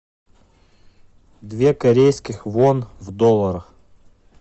две корейских вон в долларах